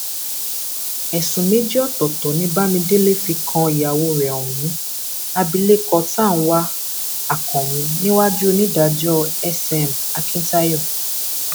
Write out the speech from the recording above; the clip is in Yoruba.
ẹsùn méjì ọtọọtọ ni bámidélé fi kan ìyàwó rẹ ohun abilékọ tànwá akànmu níwájú onídàájọ sm akíntayọ